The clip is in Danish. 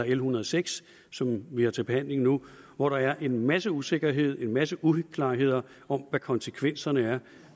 en hundrede og seks som vi har til behandling nu hvor der er en masse usikkerhed en masse uklarheder om hvad konsekvenserne er